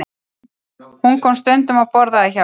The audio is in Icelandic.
Hún kom stundum og borðaði hjá okkur.